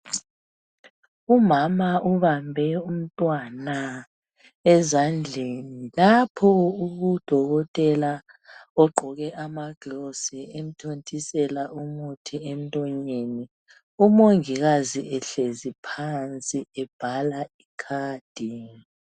Umama ubambe umntwana ezandleni lapho udokotela ogqoke amagilovisi emthontisela umuthi emlonyeni. Umongikazi ehlezi phansi ebhala ikhadi.